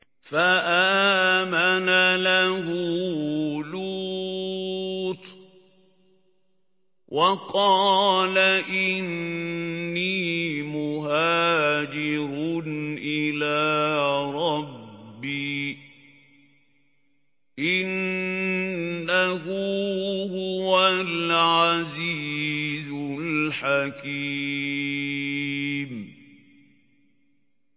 ۞ فَآمَنَ لَهُ لُوطٌ ۘ وَقَالَ إِنِّي مُهَاجِرٌ إِلَىٰ رَبِّي ۖ إِنَّهُ هُوَ الْعَزِيزُ الْحَكِيمُ